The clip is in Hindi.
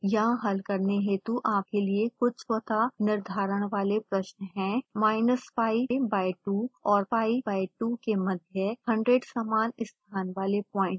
यहाँ हल करने हेतु आपके लिए कुछ स्वतः निर्धारण वाले प्रश्न हैं